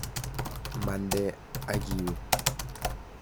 Mande akiwe.